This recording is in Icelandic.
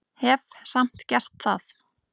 Hef samt gert það.